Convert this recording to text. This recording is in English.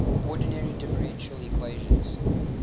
ordinary differential equations